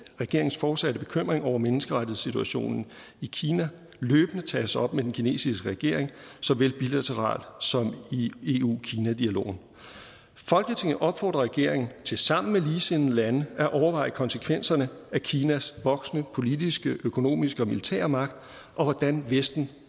regeringens fortsatte bekymring over menneskerettighedssituationen i kina løbende tages op med den kinesiske regering såvel bilateralt som i eu kina dialogen folketinget opfordrer regeringen til sammen med ligesindede lande at overveje konsekvenserne af kinas voksende politiske økonomiske og militære magt og hvordan vesten